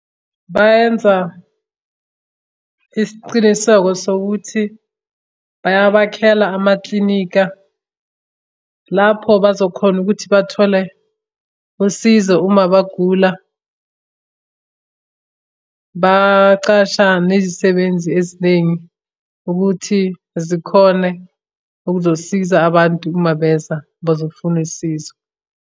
Bayenza isiciniseko sokuthi bayabakhela amaklinika, lapho bazokhona ukuthi bathole usizo uma bagula. Bacasha nezisebenzi eziningi ukuthi zikhone ukuzosiza abantu uma beza bazofuna usizo.